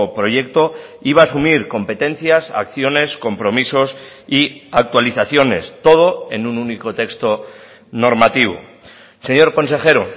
proyecto iba a asumir competencias acciones compromisos y actualizaciones todo en un único texto normativo señor consejero